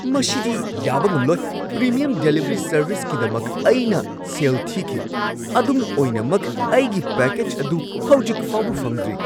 ꯃꯁꯤꯗꯤ ꯌꯥꯕ ꯉꯝꯂꯣꯏ! ꯄ꯭ꯔꯤꯃꯤꯌꯝ ꯗꯦꯂꯤꯚꯔꯤ ꯁꯔꯚꯤꯁꯀꯤꯗꯃꯛ ꯑꯩꯅ ꯁꯦꯜ ꯊꯤꯈꯤ, ꯑꯗꯨꯝ ꯑꯣꯏꯅꯃꯛ ꯑꯩꯒꯤ ꯄꯦꯀꯦꯖ ꯑꯗꯨ ꯍꯧꯖꯤꯛ ꯐꯥꯎꯕ ꯐꯪꯗ꯭ꯔꯤ!